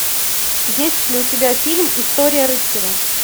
есть ли у тебя фильм история рыцаря